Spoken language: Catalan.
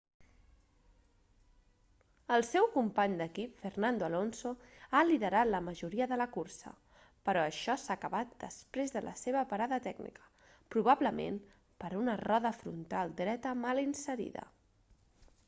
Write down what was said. el seu company d'equip fernando alonso ha liderat la majoria de la cursa però això s'ha acabat després de la seva parada tècnica probablement per una roda frontal dreta mal inserida